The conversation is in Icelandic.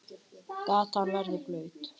Gatan verður blaut.